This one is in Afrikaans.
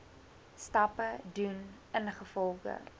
stappe doen ingevolge